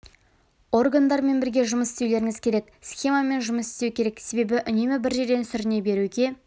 органдармен бірге жұмыс істеулеріңіз керек схемамен жұмыс істеу керек себебі үнемі бір жерде сүріне беруге